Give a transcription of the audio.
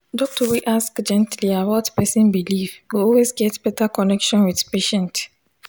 doctor wey ask gently about person belief go always get better connection with patient.